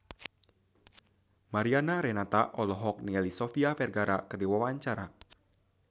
Mariana Renata olohok ningali Sofia Vergara keur diwawancara